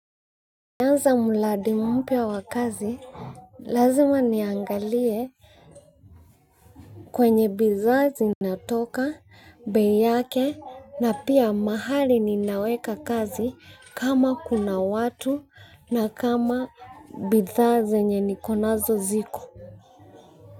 Anza muradi mpya wa kazi, lazima niangalie kwenye bidhaa zinatoka, bei yake, na pia mahali ninaweka kazi kama kuna watu na kama bidhaa zenye nikonazo ziko.